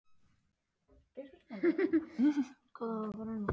Hann hafði spurt að svona klæddir hefðu þeir farið til morðverkanna á Suðurnesjum.